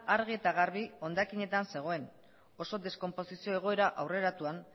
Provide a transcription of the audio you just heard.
argi eta garbi hondakinetan zegoen oso deskonposizio egoera aurreratuan